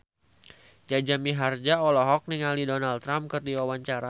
Jaja Mihardja olohok ningali Donald Trump keur diwawancara